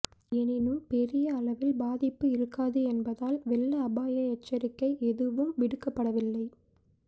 எனினும் பெரிய அளவில் பாதிப்பு இருக்காது என்பதால் வெள்ள அபாய எச்சரிக்கை எதுவும் விடுக்கப்படவில்லை